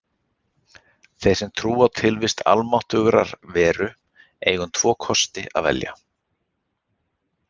Þeir sem trúa á tilvist almáttugrar veru eiga um tvo kosti að velja.